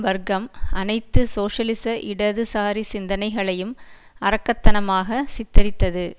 வர்க்கம் அனைத்து சோசியலிச இடதுசாரி சிந்தனைகளையும் அரக்கத்தனாமாக சித்தரித்தது